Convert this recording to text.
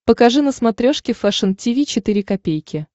покажи на смотрешке фэшн ти ви четыре ка